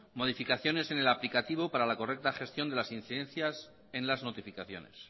modificaciones el aplicativo para la correcta gestión de las incidencias en las notificaciones